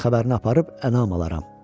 Təslim xəbərini aparıb ənam alaram.